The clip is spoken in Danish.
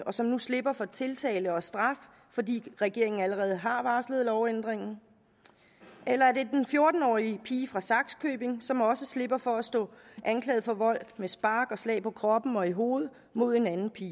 og som nu slipper for tiltale og straf fordi regeringen allerede har varslet lovændringen eller er det den fjorten årige pige fra sakskøbing som også slipper for at stå anklaget for vold med spark og slag på kroppen og i hovedet mod en anden pige